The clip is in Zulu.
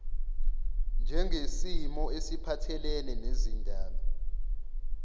njengesimo esiphathelene nezindaba